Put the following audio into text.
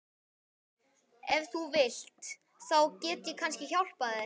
Ef þú vilt. þá get ég kannski hjálpað þér.